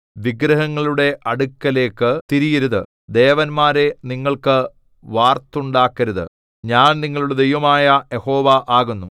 വിഗ്രഹങ്ങളുടെ അടുക്കലേക്ക് തിരിയരുത് ദേവന്മാരെ നിങ്ങൾക്ക് വാർത്തുണ്ടാക്കരുത് ഞാൻ നിങ്ങളുടെ ദൈവമായ യഹോവ ആകുന്നു